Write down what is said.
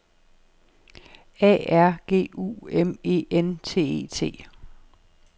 A R G U M E N T E T